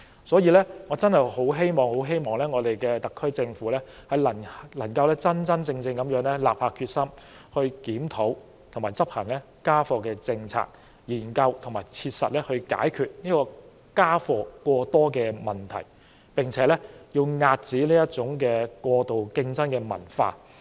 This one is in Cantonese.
所以，我很希望特區政府能夠真正立下決心，檢討現時的家課政策，研究和切實解決家課過多的問題，並且遏止過度競爭的文化。